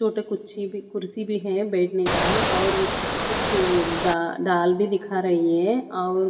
छोटे कुछी कुर्सी भी है बैठने का और कुछ डाल दाल भी दिखा रही है और --